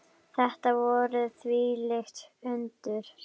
Þetta voru þvílík undur.